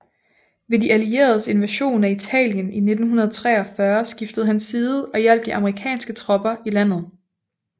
Ved de allieredes invasion af Italien i 1943 skiftede han side og hjalp de amerikanske tropper i landet